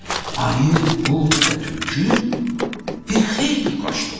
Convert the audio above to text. Ayı, qurd və tülkü bir xeyli qaçdılar.